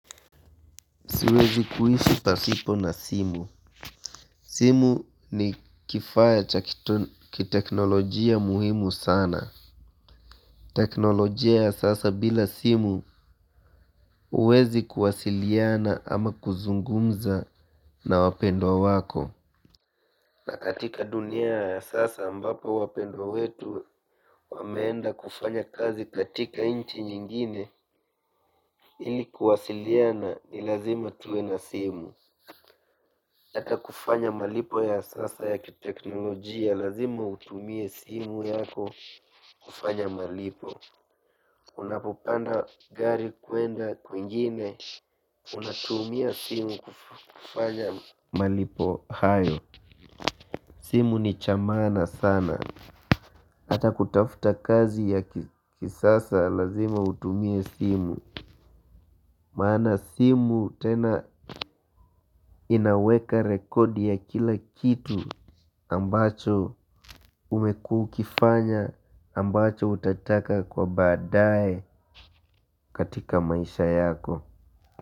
Siwezi kuishi pasipo na simu simu ni kifaa cha kiteknolojia muhimu sana. Teknolojia ya sasa bila simu huwezi kuwasiliana ama kuzungumza na wapendwa wako. Na katika dunia ya sasa ambapo wapendwa wetu wameenda kufanya kazi katika nchi nyingine hili kuwasiliana ni lazima tuwe na simu. Hata kufanya malipo ya sasa ya kiteknolojia lazima utumie simu yako kufanya malipo. Unapopanda gari kwenda kwingine unatumia simu kufanya malipo. Simu ni cha maana sana. Hata kutafuta kazi ya kisasa lazima utumie simu. Maana simu tena inaweka rekodi ya kila kitu ambacho umekuwa ukifanya ambacho utataka kwa baadaye katika maisha yako.